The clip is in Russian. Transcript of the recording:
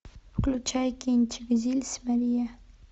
включай кинчик зильс мария